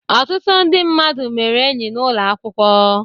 Ọtụtụ ndị mmadụ mere enyi n'ụlọ akwụkwọ.